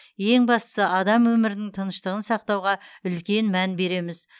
ең бастысы адам өмірінің тыныштығын сақтауға үлкен мән береміз